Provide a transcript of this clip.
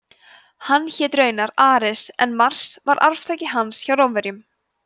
hann hét raunar ares en mars var arftaki hans hjá rómverjum